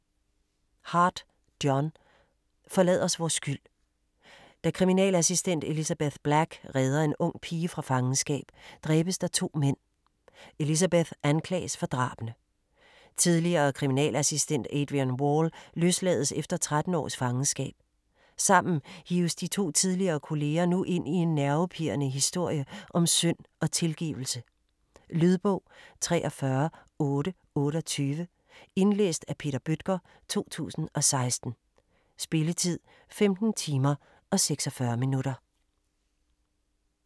Hart, John: Forlad os vor skyld Da kriminalassistent Elizabeth Black redder en ung pige fra fangenskab, dræbes der to mænd. Elizabeth anklages for drabene. Tidligere kriminalassistent Adrian Wall løslades efter 13 års fangenskab. Sammen hives de to tidligere kolleger nu ind i en nervepirrende historie om synd og tilgivelse. Lydbog 43828 Indlæst af Peter Bøttger, 2016. Spilletid: 15 timer, 46 minutter.